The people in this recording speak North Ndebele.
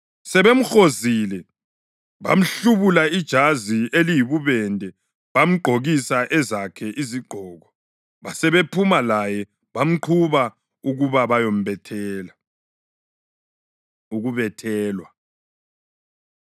Sebemhozile, bamhlubula ijazi eliyibubende bamgqokisa ezakhe izigqoko. Basebephuma laye bamqhuba ukuba bayombethela. Ukubethelwa